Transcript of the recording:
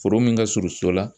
Foro min ka surun so la .